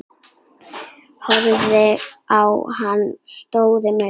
Horfði á hana stórum augum.